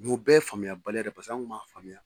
o bɛɛ ye faamuyabaliya de ye an kun ma faamuya.